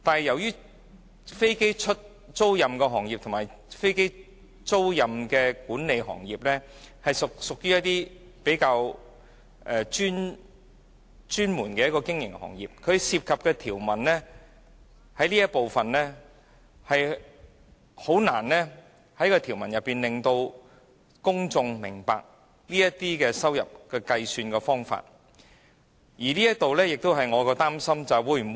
由於飛機租賃行業和飛機租賃管理是比較專門的經營行業，它所涉及的這一部分條文，實在難以單憑條文本身，令公眾明白這些收入的計算方法，而這亦是我比較擔心的一部分。